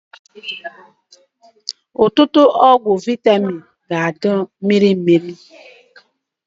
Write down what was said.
Ọtụtụ ọgwụ vaịtamin na-adị na mmiri mmiri